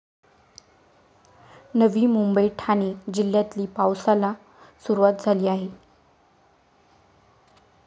नवी मुंबई, ठाणे जिल्ह्यातली पावसाला सुरुवात झाली आहे.